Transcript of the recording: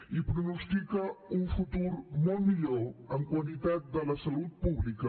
i pronostica un futur molt millor en la qualitat de la salut pública